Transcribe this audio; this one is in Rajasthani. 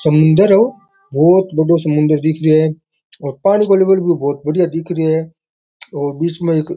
समुन्दर है ओ बहुत बड़ो समुन्दर दिख रयो है और पानी को लेवल भी बहुत बढ़िया दिख रयो है और बीच में एक --